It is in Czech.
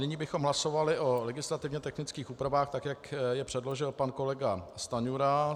Nyní bychom hlasovali o legislativně technických úpravách, tak jak je předložil pan kolega Stanjura.